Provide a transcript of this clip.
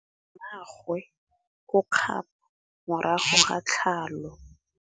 Mmagwe o kgapô morago ga tlhalô.